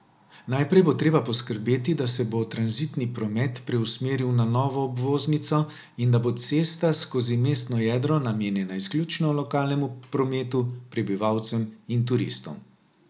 Najprej bo treba poskrbeti, da se bo tranzitni promet preusmeril na novo obvoznico in da bo cesta skozi mestno jedro namenjena izključno lokalnemu prometu, prebivalcem in turistom.